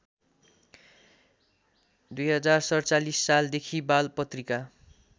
२०४७ सालदेखि बालपत्रिका